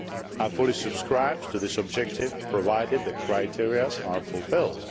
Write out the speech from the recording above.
I fully subscribe to this objective, provided the criteria are fulfilled.